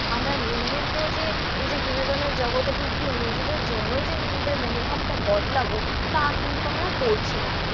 আমরা নিজেদেরকেও যে এই যে বিনোদনের জগতে ঢুকে নিজেদের জন্যই যে নিজেদের মনোভাবটা বদলাবো, তা কিন্তু আমরা করছি না।